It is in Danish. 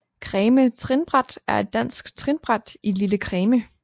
Kregme Trinbræt er et dansk trinbræt i Lille Kregme